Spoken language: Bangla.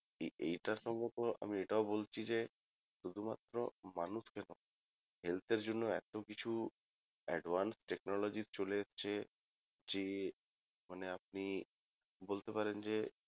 এ এটা সম্ভবত আমি এটাও বলছি যে শুধুমাত্র মানুষকে না health এর জন্য এতকিছু advanced technology চলে এসছে যে মানে আপনি বলতে পারেন যে